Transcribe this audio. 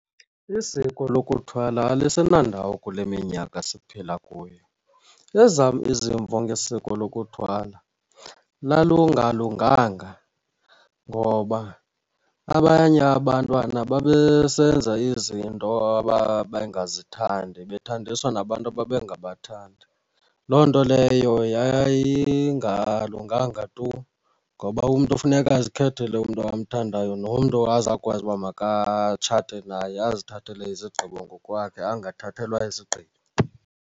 Isiko lokuthwala alisenandawo kule minyaka siphila kuyo. Ezam izimvo ngesiko lokuthwala lalungalunganga ngoba abanye abantwana babesenza izinto ababengazithandi, bethandiswa nabantu ababengabathandi. Loo nto leyo yayingalunganga tu ngoba umntu funeka azikhethele umntu amthandayo nomntu azawukwazi uba makathathe naye, azithathele izigqibo ngokwakhe angathathelwa izigqibo.